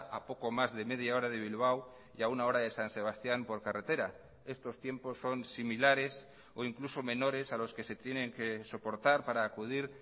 a poco más de media hora de bilbao y a una hora de san sebastián por carretera estos tiempos son similares o incluso menores a los que se tienen que soportar para acudir